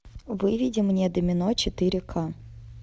выведи мне домино четыре ка